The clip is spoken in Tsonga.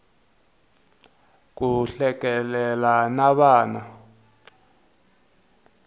ku hlekelela na vana